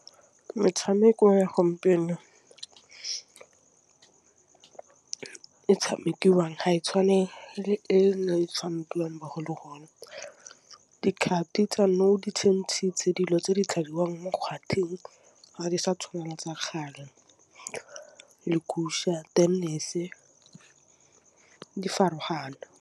Metšhameko ya gompieno e tšhamekiwang ha e tšhwanetse e tšhamekiwang ba go le gona dikgapo di tseno di dintsi tse dilo tse di tladiwang mo gauteng ga di sa tshwanela tsa kgale tennis-e di farologana.??????